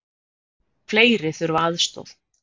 Fleiri þurfa aðstoð